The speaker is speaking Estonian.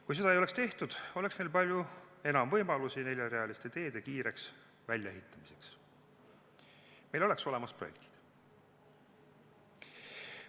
Kui seda ei oleks tehtud, oleks meil palju enam võimalusi neljarealiste teede kiireks väljaehitamiseks, meil oleks olemas projektid.